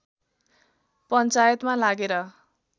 पञ्चायतमा लागेर